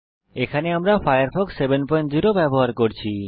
এখানে আমরা উবুন্টু 1004 এ ফায়ারফক্স 70 ব্যবহার করছি